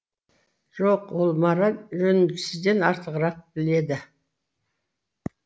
жоқ ол мораль жөнін сізден артығырақ біледі